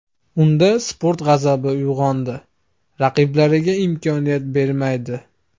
Unda sport g‘azabi uyg‘onadi, raqiblariga imkoniyat bermaydi.